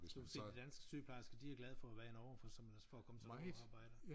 Du kan se de danske sygeplejersker de er glade for at være i Norge for som ellers for at komme til at få lov at arbejde